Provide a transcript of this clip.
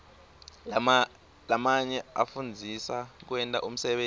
lamanye afundzisa kwenta umsebenti